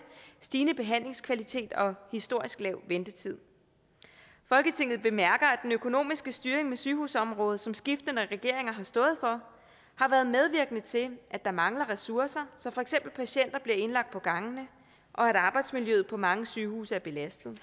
stigende behandlingskvalitet og historisk lav ventetid folketinget bemærker at den økonomiske styring med sygehusområdet som skiftende regeringer har stået for har været medvirkende til at der mangler ressourcer så for eksempel patienter bliver indlagt på gangene og arbejdsmiljøet på mange sygehuse er belastet